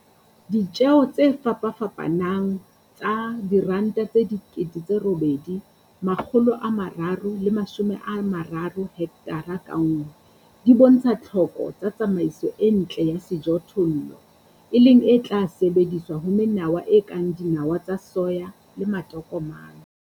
Ditjeo tse fapafapanang tsa R8 330 hekthara ka nngwe di bontsha tlhoko tsa tsamaiso e ntle ya sejothollo, e leng e tla sebediswa le ho menawa e kang dinawa tsa soya le matokomane.